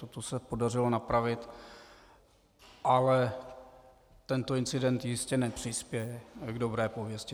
Toto se podařilo napravit, ale tento incident jistě nepřispěje k dobré pověsti.